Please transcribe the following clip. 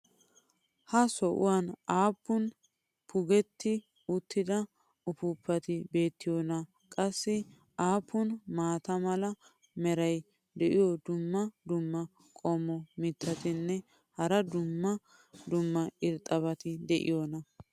ha sohuwan aappun puggetti uttida uppuuppati beetiyoonaa ? qassi aappun maata mala meray diyo dumma dumma qommo mitattinne hara dumma dumma irxxabati de'iyoonaa?